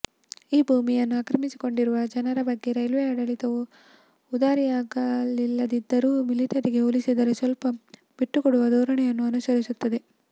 ಈ ಭೂಮಿಯನ್ನು ಆಕ್ರಮಿಸಿಕೊಂಡಿರುವ ಜನರ ಬಗ್ಗೆ ರೈಲ್ವೆ ಆಡಳಿತವು ಉದಾರಿಯಾಗಿಲ್ಲದಿದ್ದರೂ ಮಿಲಿಟರಿಗೆ ಹೋಲಿಸಿದಲ್ಲಿ ಸ್ವಲ್ಪ ಬಿಟ್ಟುಕೊಡುವ ಧೋರಣೆಯನ್ನು ಅನುಸರಿಸುತ್ತದೆ